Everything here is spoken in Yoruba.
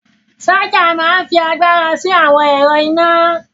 Ṣaja máa ń fi agbára sí àwọn ẹ̀rọ iná